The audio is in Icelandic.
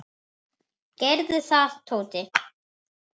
Gerðu það, Tóti!